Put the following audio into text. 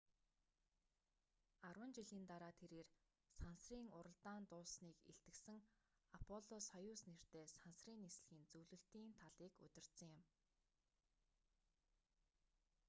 арван жилийн дараа тэрээр сансрын уралдаан дууссаныг илтгэсэн аполло-союз нэртэй сансрын нислэгийн зөвлөлтийн талыг удирдсан юм